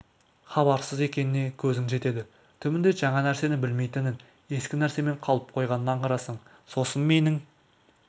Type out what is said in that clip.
хабарсыз екеніне көзің жетеді түбінде жаңа нәрсені білмейтінін ескі нәрсемен қалып қойғанын аңғарасың сосын менің